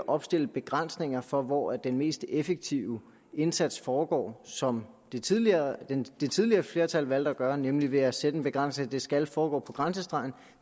opstille begrænsninger for hvor den mest effektive indsats foregår som det tidligere det tidligere flertal valgte at gøre nemlig ved at sætte den begrænsning at det skal foregå på grænsestregen